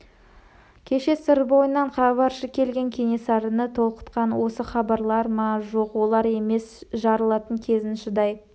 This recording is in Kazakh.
кеше сыр бойынан хабаршы келген кенесарыны толқытқан осы хабарлар ма жоқ олар емес жарылатын кезін шыдай